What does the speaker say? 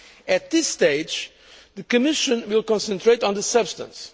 At this stage, the Commission will concentrate on the substance.